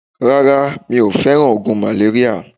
Rara, mi o fe ogun maleria.